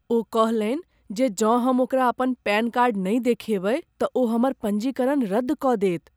ओ कहलनि जे जँ हम ओकरा अपन पैन कार्ड नहि देखाएबै तऽ ओ हमर पञ्जीकरण रद्द कऽ देत।